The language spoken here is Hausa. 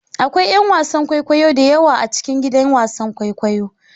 Akwai 'yan wasan kwaikwayo da yawa a cikin gidan wasan kwaikwayo.